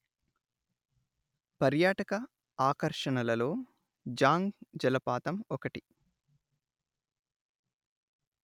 పర్యాటక ఆకర్షణలలో జాంగ్ జలపాతం ఒకటి